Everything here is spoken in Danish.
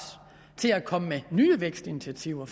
til at komme med nye vækstinitiativer